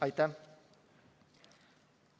Aitäh!